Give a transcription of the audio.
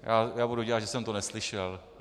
Já budu dělat, že jsem to neslyšel.